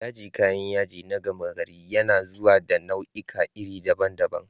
Yaji, kayan yaji na gama gari, yana zuwa da nau'ikan iri daban-daban